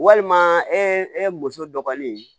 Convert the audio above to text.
Walima ee e muso dɔgɔnin